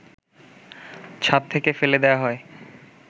ছাদ থেকে ফেলে দেয়া হয়